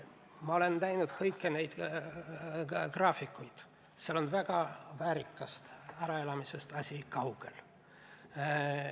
Ma olen näinud kõiki neid graafikuid – väärikast äraelamisest on asi väga kaugel.